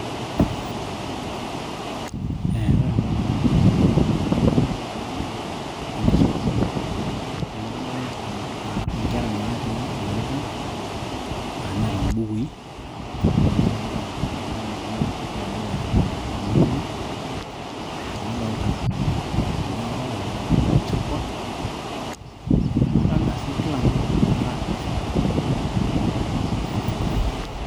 ore entoki nalotu indamunot tenadol ena naa enkisuma amu kadolta inkera natii ilorikan neeta imbukui nadolita oltung'ani otii tedukuya naa ormalimui nadolita orbao or chalkboard nadolita sii mtu aa active.